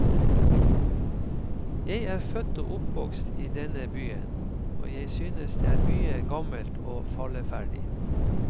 Jeg er født og oppvokst i denne byen, og jeg synes det er mye gammelt og falleferdig.